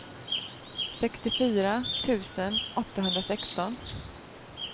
sextiofyra tusen åttahundrasexton